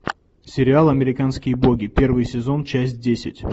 сериал американские боги первый сезон часть десять